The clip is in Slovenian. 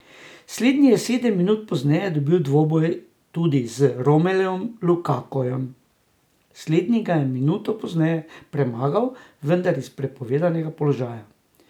Slednji je sedem minut pozneje dobil dvoboj tudi z Romelujem Lukakujem, slednji ga je minuto pozneje premagal, vendar iz prepovedanega položaja.